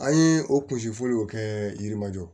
An ye o kun fɔliw kɛ yirimajɔ